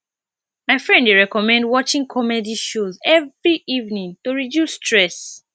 my friend dey recommend watching comedy show every evening to reduce stress